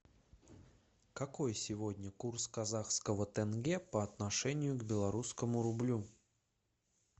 какой сегодня курс казахского тенге по отношению к белорусскому рублю